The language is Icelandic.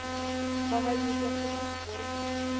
Það hefði ég gert í hans sporum.